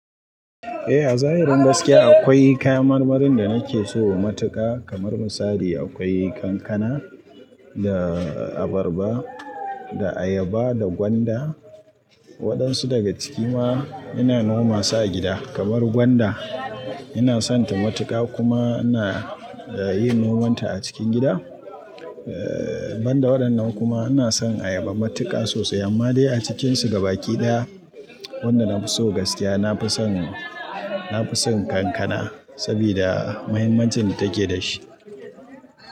Eh a zahirin gaskiya akwai kayan marmarin da nake so matuka kamar misali akwai kankana, da abarba, da ayaba, da gwanda. Waɗansu daga ciki ma ina noma su a gida kamar gwanda ina sonta matuƙa kuma ina yin nomanta a cikin gida. Eh banda waɗannan kuma ina son ayaba matuƙa sosai amma dai a cikinsu gabakiɗaya wanda na fi so gaskiya na fi son, na fi son kankana sabida muhimmancin da take da shi.